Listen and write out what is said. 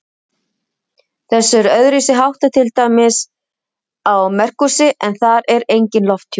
Þessu er öðruvísi háttað til dæmis á Merkúríusi, en þar er enginn lofthjúpur.